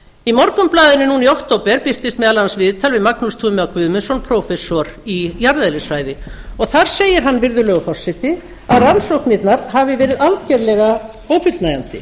í morgunblaðinu núna í október birtist meðal annars viðtal við magnús guðmundsson prófessor í jarðeðlisfræði þar segir hann virðulegur forseti að rannsóknirnar hafi verið algjörlega ófullnægjandi